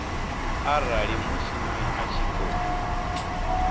arali mushumi a tshi khou